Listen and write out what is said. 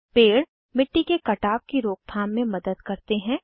पेड़ मिट्टी के कटाव की रोकथाम में मदद करते हैं